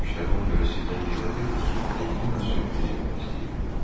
Bütün bu işləri ona görə sizdən gizlədirdik ki, Delfina sürpriz eləmək istəyirdi.